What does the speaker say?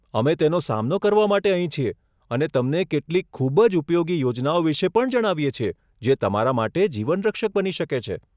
અમે તેનો સામનો કરવા માટે અહીં છીએ અને તમને કેટલીક ખૂબ જ ઉપયોગી યોજનાઓ વિશે પણ જણાવીએ છીએ જે તમારા માટે જીવનરક્ષક બની શકે છે.